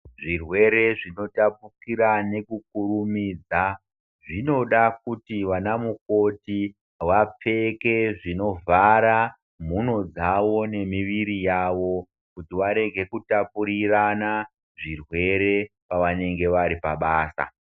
Zvirwere zvino tapukira nekukurumidza zvinoda kuti ana mukoti vapfeke zviovhara miro dzawo nemwiri yavo kuti varege kutapurirana zviwere pvanenge vari pabasa.